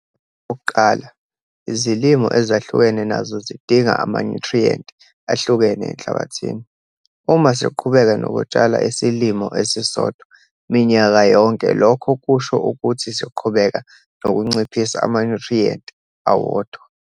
Okokuqala, izilimo ezahlukene nazo zidinga amanyuthriyenti ahlukene enhlabathini. Uma siqhubeka nokutshala isilimo esisodwa minyaka yonke lokho kusho ukuthi siqhubeka nokunciphisa amanyuthriyenti awodwa.